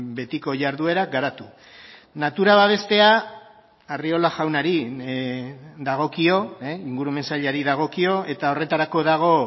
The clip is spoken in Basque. betiko jarduera garatu natura babestea arriola jaunari dagokio ingurumen sailari dagokio eta horretarako dago